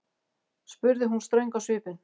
spurði hún ströng á svipinn.